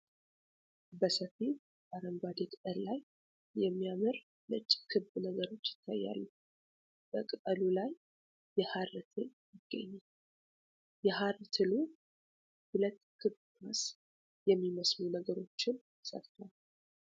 በሰፊ አረንጓዴ ቅጠል ላይ የሚያምር ነጭ ክብ ነገሮች ይታያሉ ። በቅጠሉ ላይ የሐር ትል ይገኛል ።የሐር ትሉ 2 ክብ ኳስ የሚመስሉ ነገሮችን ሰርቷል ።